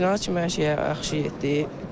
Yarımfinaala kimi hər şey yaxşı getdi.